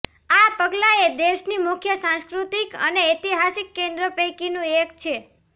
આ પગલાએ દેશની મુખ્ય સાંસ્કૃતિક અને ઐતિહાસિક કેન્દ્રો પૈકીનું એક છે